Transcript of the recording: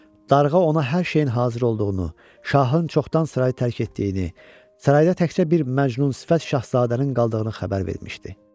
Darğa ona hər şeyin hazır olduğunu, şahın çoxdan sarayı tərk etdiyini, sarayda təkcə bir məcnunsifət şahzadənin qaldığını xəbər vermişdi.